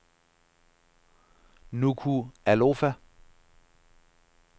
Nukualofa